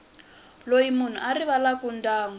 loyi munhu a rivalaka ndyangu